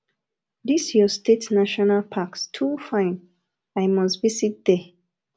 this your state national packs too fine i must visit there